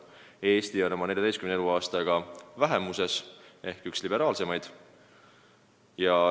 Eesti on oma 14 eluaastaga vähemuses ehk üks liberaalsemaid.